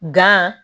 Gan